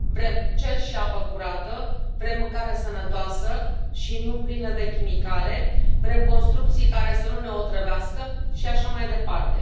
Vrem cer și apă curată, vrem mâncare sănătoasă și nu plină de chimicale, vrem construcții care să nu ne otrăvească și așa mai departe.